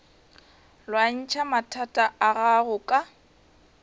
lwantšha mathata a gago ka